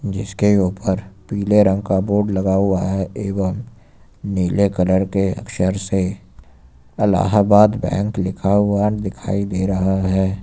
जिसके ऊपर पीले रंग का बोर्ड लगा हुआ है एवं नीले कलर के अक्षर से अलाहाबाद बैंक लिखा हुआ दिखाई दे रहा है।